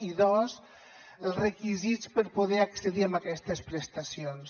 i dos els requisits per poder accedir a aquestes prestacions